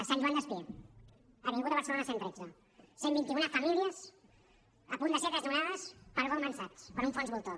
sant joan despí avinguda de barcelona cent i tretze cent i vint un famílies a punt de ser desnonades per goldman sachs per un fons voltor